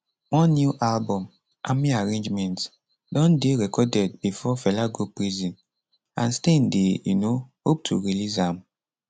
one new album army arrangement don dey recorded bifor fela go prison and stein dey um hope to release am